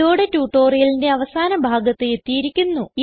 ഇതോടെ ട്യൂട്ടോറിയലിന്റെ അവസാന ഭാഗത്ത് എത്തിയിരിക്കുന്നു